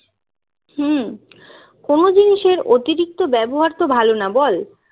হম কোন জিনিসের অতিরিক্ত ব্যবহার তো ভালো না বল